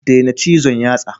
Daina cizon yatsa.